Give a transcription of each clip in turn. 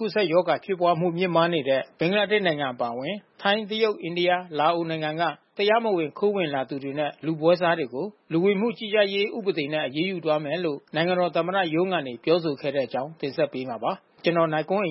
ကူးစက်ရောဂါဖြစ်ပွါးမှု မြင့်မားနေတဲ့ ဘင်္ဂလားဒေ့ရှ်နိုင်ငံအပါအဝင် ထိုင်း၊ တရုတ်၊ အိန္ဒိယ၊ လာအိုနိုင်ငံက တရားမဝင်ခိုးဝင်လာသူတွေနဲ့ လူပွဲစားတွေကို လူဝင်မှု ကြီးကြပ်ရေးဥပဒေနဲ့ အရေးယူသွားမယ်လို့ နိုင်ငံတော် သမ္မတရုံးကနေ ပြောဆိုခဲ့တဲ့အကြောင်းတင်ဆက်ပေးမှာပါ။ ဒီအကြောင်းဗွီအိုအေ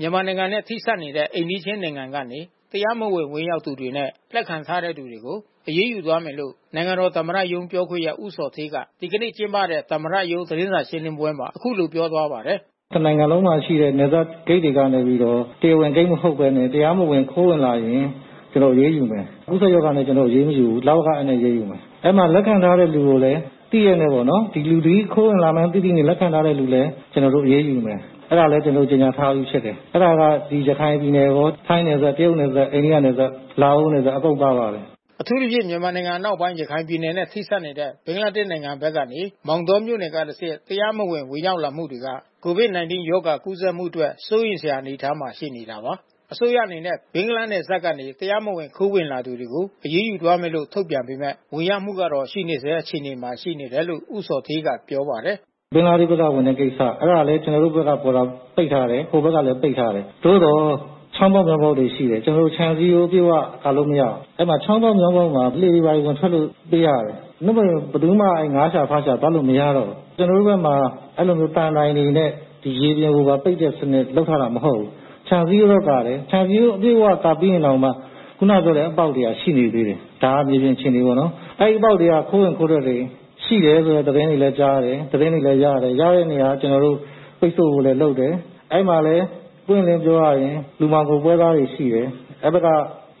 မြန်မာပိုင်း သတင်းထောက် ကိုနိုင်ကွန်းအိန်က သတင်းပေးပို့ထားပါတယ်။ မြန်မာနိုင်ငံနဲ့ ထိစပ်နေတဲ့ အိမ်နီးချင်းနိုင်ငံကနေ တရားမဝင် ဝင်ရောက်လာသူတွေနဲ့ လက်ခံထားတဲ့သူတွေကို အရေးယူသွားမယ်လို့ နိုင်ငံတော် သမ္မတရုံးပြောခွင့်ရ ဦးဇော်ဌေးက ဒီကနေ့ကျင်းပတဲ့ သမ္မတရုံး သတင်းစာရှင်းလင်းပွဲမှာ အခုလိုပြောသွားပါတယ်။ “တနိုင်ငံလုံးမှာရှိတဲ့ နယ်စပ်ဂိတ်တွေကနေပြီးတော့ တရားဝင်ဂိတ်တွေ မဟုတ်ဘဲနဲ့ တရားမဝင်ခိုးဝင်လာရင် ကျနော် အရေးယူမယ်။ ကူးစက်ရောဂါနဲ့ ကျနော်တို့ အရေးမယူဘူး၊ လဝကအက်နဲ့ အရေးယူမယ်။ အဲဒီမှာလက်ခံထားတဲ့ လူကိုလည်း သိရက်နဲ့ပေါ့နော် ဒီလူသည်ခိုးဝင်မှန်းသိသိနဲ့ လက်ခံထားတဲ့လူလည်း ကျနော်တို့ အရေးယူမယ်။ အဲဒါလည်း ကျနော်တို့ ကြေညာထားပြီးဖြစ်တယ်။ အဲဒါက ကျနော်တို့ ရခိုင်ပြည်နယ်ရော၊ ထိုင်းနယ်စပ်၊ တရုတ်နယ်စပ်၊ အိန္ဒိယနယ်စပ်၊ လာအိုနယ်စပ် အကုန်ပါပါတယ်။” အထူးသဖြင့် မြန်မာနိုင်ငံအနောက်ပိုင်း ရခိုင်ပြည်နယ်နဲ့ထိစပ်နေတဲ့ ဘင်္ဂလားဒေ့ရှ်နိုင်ငံဘက်ကနေ မောင်တောမြို့နယ်ကတဆင့် တရားမဝင်ဝင်ရောက်မှုတွေက COVID-19 ရောဂါကူးစက်မှုအတွက် စိုးရိမ်စရာအနေအထား ရှိနေတာပါ။ အစိုးရအနေနဲ့ ဘင်္ဂလားနယ်စပ်ကနေ တရားမဝင်ခိုးဝင်လာသူတွေကို အရေးယူသွားမယ်လို့ ထုတ်ပြန်ပေမဲ့ ဝင်ရောက်မှုကတော့ရှိနေဆဲ အခြေအနေမှာရှိနေတယ်လို့ ဦးဇော်ဌေးကပြောပါတယ်။ “ဘင်္ဂလားဒေ့ရှ်က ဝင်လာတဲ့ကိစ္စ။ အဲဒါလည်း ကျနော်တို့ဘက်က Border ပိတ်ထားတယ်။ ဟိုဘက်ကလည်း ပိတ်ထားတယ်။ သို့သော်ချောင်းပေါက်မြောင်းပေါက်တွေ ရှိတယ်။ ကျနော်တို့ ခြံစည်းရိုးအပြည့်၀ ကာလို့ မရဘူး။ အဲဒီ ချောင်းပေါက်မြောင်းပေါက်မှာ လှေတွေဘာတွေ ဝင်ထွက်ဖို့ ပေးရတယ်။ နို့မို့ရင် ဘယ်သူမှ သားရှာ၊ ဖားရှာသွားလို့ မရတော့ဘူး။ ကျနော်တို့ဘက်မှာ အဲဒီလိုမျိုးသံတိုင်တွေနဲ့ ရေလယ်ပေါ်မှာ ပိတ်တဲ့စနစ် လုပ်ထားတာမဟုတ်ဘူး။ ခြံစည်းရိုးပဲ ကာတယ်။ ခြံစည်းရိုး ကာပြီးရင်တောင်မှ ခုနကပြောတဲ့အပေါက်တွေက ရှိနေသေးတယ်။ ဒါကမြေပြင် အခြေအနေပေါ့နော်။ အဲဒီအပေါက်တွေက ခိုးဝင်ခိုးထွက်တွေရှိတယ်လို့ သတင်းတွေလဲကြားတယ်။ သတင်းတွေလည်း ရတယ်။ ရတဲ့နေရာက ကျနော်တို့ ပိတ်ဆို့ဖို့လည်း လုပ်တယ်။ အဲဒီမှာလဲပွင့်ပွင့်လင်းလင်းပြောရရင် လူမှောင်ခိုပွဲစားတွေ ရှိတယ်။ တပ်ဘက်က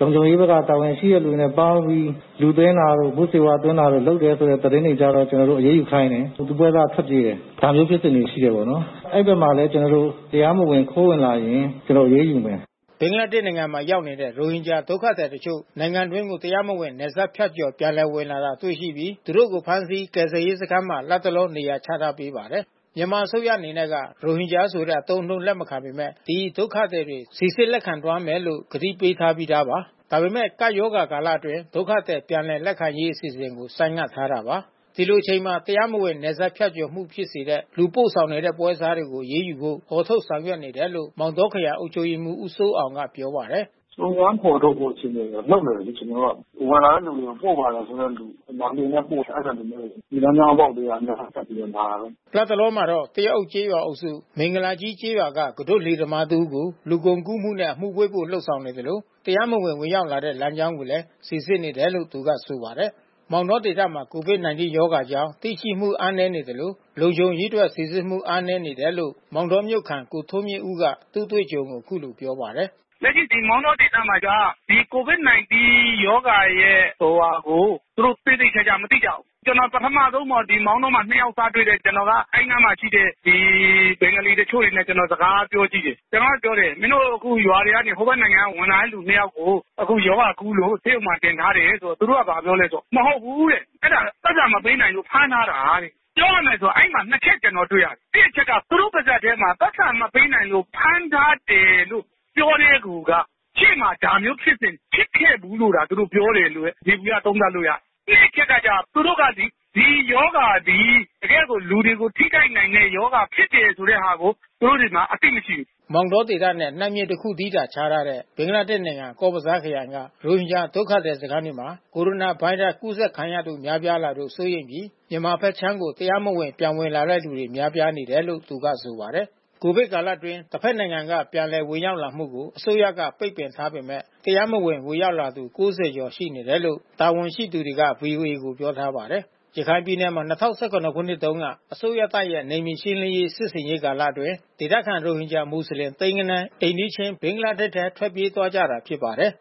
၊ လုံခြုံရေးဘက်က တာဝန်ရှိသူတွေနဲ့ ပေါင်းပြီး လူသွင်းတာတို့ မူးယစ်ဆေးဝါးသွင်းတာတို့ လုပ်တဲ့အတွက် သတင်းတွေကြားတော့ ကျနော်တို့ အရေးယူခိုင်းတယ်။ လူပွဲစားက ထွက်ပြေးတယ်။ ဒါလေးဖြစ်စဉ်က ရှိခဲ့တာပေါ့နော်။ အဲဒီဘက်မှာလည်း ကျနော်တို့ တရားမဝင်ခိုးဝင်လာရင် ကျနော်တို့ အရေးယူမယ်။” ဘင်္ဂလားဒေ့ရှ်နိုင်ငံမှာ ရောက်နေတဲ့ ရိုဟင်ဂျာဒုက္ခသည်တချို့ နိုင်ငံတွင်းကို တရားမဝင် နယ်စပ်ဖြတ်ကျော် ပြန်လည် ဝင်လာတာတွေရှိပြီး သူတို့ကို ဖမ်းဆီး ကယ်ဆယ်ရေးစခန်းထဲမှာ လတ်တလော နေရာချထားပေးပါတယ်။ မြန်မာအစိုးရအနေနဲ့က ရိုဟင်ဂျာဆိုတဲ့ အသုံးအနှုန်းကို လက်မခံပေမဲ့ ဒီဒုက္ခသည်တွေ စီစစ်လက်ခံသွားမယ်လို့ ဂတိပေးထားပြီးသားပါ။ ဒါပေမဲ့ ကပ်ရောဂါကာလအတွင်း ဒုက္ခသည်ပြန်လည်လက်ခံရေး အစီအစဉ်ကို ဆိုင်းငံထားပါတယ်။ ဒီလိုအချိန်မှာ တရားမဝင်နယ်စပ်ဖြတ်ကျော်မှု ဖြစ်စေတဲ့ လူပို့ဆောင်နေတဲ့ ပွဲစားတွေကို အရေးယူဖို့ ဖော်ထုတ်နေတယ်လို့ မောင်တောခရိုင်အုပ်ချုပ်ရေးမှူး ဦးစိုးအောင်ကပြောပါတယ်။ “စုံစမ်းဖေါ်ထုတ်ဖို့အခြေအနေလုပ်နေတယ်လေ ကျနော်တို့က။ ဝင်လာတဲ့လူကို ပို့ပါတယ်ဆိုတဲ့လူ။ ဒီမှာလှေနဲ့ ပို့တယ် အဲဒီလူမျိုးကို။ ရေလမ်းကြောင်းအပေါက်ကနေ ဝင်ထွက်ပြီးတော့ လာတာပဲ။” လတ်တလောမှာတော့ သရက်အုပ်ကျေးရွာအုပ်စု မင်္ဂလာကြီးကျေးရွာက ကူးတို့လှေသမားတစ်ဦးကို လူကုန်ကူးနဲ့ အမှုဖွင့်ဖို့ လုပ်ဆောင်နေသလို တရားမဝင် ဝင်ရောက်လာခဲ့တဲ့ လမ်းကြောင်းတွေကိုလည်း စိစစ်နေတယ်လို့ သူကဆိုပါတယ်။ မောင်တောဒေသမှာ COVID-19 ရောဂါအကြောင်း သိရှိမှု အားနည်းနေသလို လုံခြုံရေးအတွက်စီစစ်မှု အားနည်းနေတယ်လို့ မောင်တောမြို့ခံ ကိုထွန်းမြင့်ဦးက သူ့အတွေ့အကြုံကိုအခုလိုပြောပါတယ်။ “လက်ရှိဒီမောင်တောဒေသမှာက ဒီ COVID-19 ရောဂါရဲ့ ဟိုဟာကို သူတို့သေသေချာချာမသိကြဘူး။ ကျနော် ပထမဆုံးပေါ့။ မောင်တောမှာ နှစ်ယောက်သွားတွေ့တယ်။ ကျနော်က အဲဒီအနားမှာရှိတဲ့ ဘင်္ဂလီတချို့တွေနဲ့ စကားသွားပြော ကြည့်တယ်။ ကျနော်က ပြောတယ်။ မင်းတို့ အခုရွာတွေကနေ ဟိုဘက်နိုင်ငံက ဝင်လာတဲ့လူနှစ်ယောက်ကို အခုရောဂါ ကူးလို့ ဆေးရုံမှာ တင်ထားတယ်ဆို သူတို့ကဘာပြောလဲဆိုတော့ မဟုတ်ဘူးတဲ့။ အဲတာပိုက်ဆံမပေးနိုင်လို့ ဖမ်းထားတာတဲ့။ ပြောရမယ်ဆိုအဲဒီမှာ နှစ်ချက် ကျနော် တွေ့ရတယ်။ တစ်အချက်က သူတို့ပါးစပ်ထဲမှာ ပိုက်ဆံမပေးနိုင်လို့ဖမ်းထားတယ်လို့ပြောတာကိုက ရှေ့မှာ ဒါမျိုးဖြစ်စဉ် ဖြစ်ခဲ့ဘူးလို့သာ သူတို့ပြောတယ်လို့ပဲ ယေဘူယျသုံးသပ်လို့ရတယ်။ နှစ်အချက်ကကျ သူတို့က ဒီရောဂါသည် တကယ့်ကို လူတွေကို ထိခိုက်နိုင်တဲ့ရောဂါဖြစ်တယ်ဆိုတဲ့ဟာကို သူတို့တွေမှာ အသိမရှိဘူး။” မောင်တောဒေသနဲ့ နတ်မြစ်တစ်ခုတည်းသာခြားထားတဲ့ ဘင်္ဂလာဒေ့ရှ်နိုင်ငံ ကော့စ်ဘဇားခရိုင်က ရိုဟင်ဂျာ ဒုက္ခသည်စခန်းထဲမှာ ကိုရိုနာဗိုင်းရပ်စ် ကူးစက်ခံရသူ များပြားလာလို့ စိုးရိမ်စိတ်ဖြစ်ပြီး၊ မြန်မာနိုင်ငံဘက်ခြမ်းကို တရားမဝင် ပြန်ဝင်လာတဲ့သူများပြားနေတယ်လို့ သူကဆိုပါတယ်။ ကိုဗစ်ကာလအတွင်း တဘက်နိုင်ငံမှ ပြန်လည်ဝင်ရောက်လာမှုကို အစိုးရက ပိတ်ပင်ထားပေမဲ့ တရားမဝင် ဝင်ရောက်လာသူ ၉၀ ကျော် ရှိနေတယ်လို့ တာဝန်ရှိသူတွေက VOA ကို ပြောထားပါတယ်။ ရခိုင်ပြည်နယ်မှာ၂၀၁၇ ခုနှစ်တုန်းက အစိုးရတပ်ရဲ့ နယ်မြေရှင်းလင်းရေး စစ်ဆင်ရေးအတွင်း ဒေသခံ ရိုဟင်ဂျာ မွတ်လင် သိန်းဂဏန်း အိမ်နီးချင်း ဘင်္ဂလားဒေ့ရ်ှထဲ ထွက်ပြေးသွားခဲ့ကြတာဖြစ်ပါတယ်။